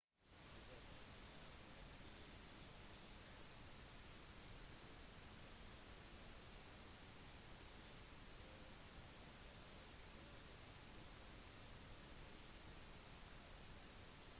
ubåter ble brukt i vv1 og vv2. den gang var de veldig trege og hadde et svært begrenset rekkevidde for skyts